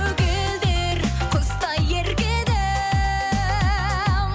көгілдір құздай ерке едім